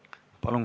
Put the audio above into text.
Palun!